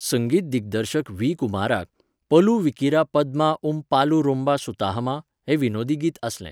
संगीत दिग्दर्शक व्ही. कुमाराक, 'पलू विकिरा पद्मा उम पालू रोंबा सुताहमा?' हें विनोदी गीत आसलें.